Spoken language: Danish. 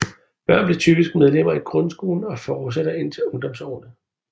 Børn bliver typisk medlemmer i grundskolen og fortsætter indtil ungdomsårene